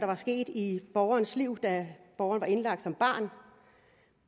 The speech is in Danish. var sket i borgernes liv da borgeren var indlagt som barn